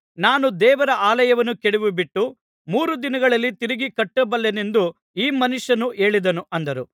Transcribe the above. ನಾನು ದೇವರ ಆಲಯವನ್ನು ಕೆಡವಿಬಿಟ್ಟು ಮೂರು ದಿನಗಳಲ್ಲಿ ತಿರುಗಿ ಕಟ್ಟಬಲ್ಲೆನೆಂದು ಈ ಮನುಷ್ಯನು ಹೇಳಿದನು ಅಂದರು